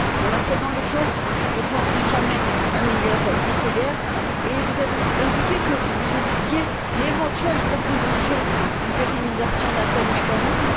On l'a fait dans l'urgence. L'urgence n'est jamais la meilleure conseillère, et vous avez indiqué que vous étudiiez l'éventuelle proposition d'une pérennisation d'un tel mécanisme.